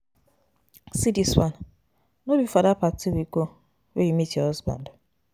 See dis one. No be for dat party we go wey you meet your husband.